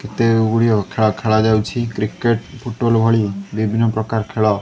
ଏତେ ଗୁଡିଏ ଖେଳ ଖେଳାଯାଉଛି କ୍ରିକେଟ ଫୁଟବଲ ଭଳି ବିଭିନ୍ନ ପ୍ରକାର ଖେଳ --